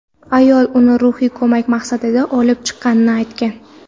Ayol uni ruhiy ko‘mak maqsadida olib chiqqani aytgan.